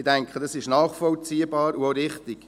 Ich denke, das ist nachvollziehbar und auch richtig.